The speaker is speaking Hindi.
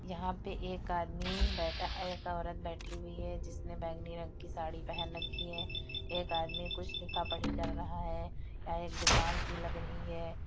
यहाँ पे एक आदमी बैठा एक औरत बैठी हुई है। जिसने बैगनी रंग की साड़ी पहन रखी है एक आदमी कुछ लिखा पढ़ी कर रहा है यहाँ एक दुकान सी लग रही है।